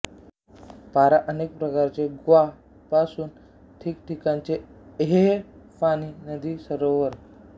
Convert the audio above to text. पारा अनेक प्रकारचे ग्वा पासूनचे ठिकाणचे एएह पाणी नदी सरोवर